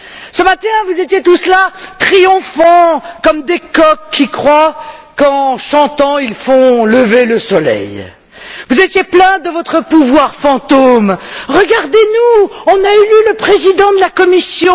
Ce matin, vous étiez tous là, triomphants, comme des coqs qui croient qu'en chantant, ils font lever le soleil. Vous étiez plein de votre pouvoir fantôme. Regardez nous, on a élu le président de la Commission.